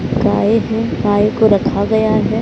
गाय हैं गाय को रखा गया है।